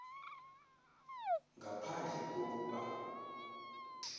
ngaphandle ko kuba